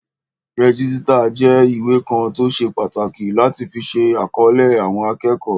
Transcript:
Rẹ́jísítà jẹ́ ìwé kan tó ṣe pàtàkì láti fi ṣe àkọlé àwọn akẹ́kọ̀ọ́